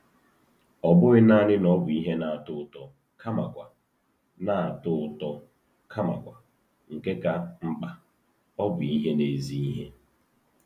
Ọ bụghị nanị na ọ bụ ihe na-atọ ụtọ kamakwa, na-atọ ụtọ kamakwa, nke ka mkpa, ọ bụ ihe na-ezi ihe.